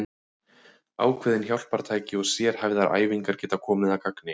Ákveðin hjálpartæki og sérhæfðar æfingar geta komið að gagni.